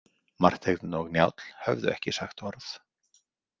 Marteinn og Njáll höfðu ekki sagt orð.